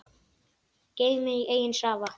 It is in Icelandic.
Geymið í eigin safa.